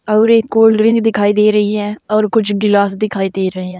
अऊर एक cold drink दिखाई दे रही है और कुछ गिलास दिखाई दे रहे हैं।